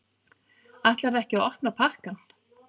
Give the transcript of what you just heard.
Ætlarðu ekki að opna pakkann?